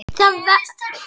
Það var veðmál í gangi.